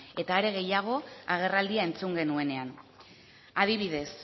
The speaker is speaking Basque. eta are gehiago agerraldia entzun genuenean adibidez